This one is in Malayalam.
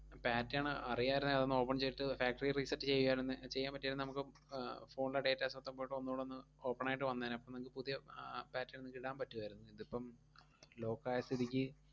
pattern അറിയാരുന്നേ അതൊന്നു open ചെയ്തിട്ട് factory reset ചെയ്യുവാരുന്നേ ഏർ ചെയ്യാൻ പറ്റിയാരുന്നേ നമുക്ക് ആഹ് phone ലെ datas മൊത്തം പോയിട്ട് ഒന്നൂടൊന്ന് open ആയിട്ട് വന്നേനെ. അപ്പം നിങ്ങക്ക് പുതിയ ആഹ് pattern നിങ്ങക്ക് ഇടാൻ പറ്റുവാരുന്ന്. ഇതിപ്പം lock ആയ സ്ഥിതിക്ക്.